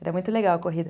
Era muito legal a corrida.